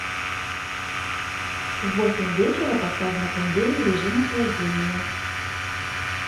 в восемь вечера поставь на кондее в режим охлаждения